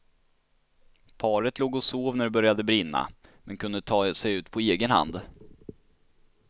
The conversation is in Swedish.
Paret låg och sov när det började brinna, men kunde ta sig ut på egen hand.